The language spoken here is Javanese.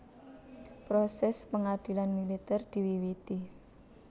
Prosès pangadilan militèr diwiwiti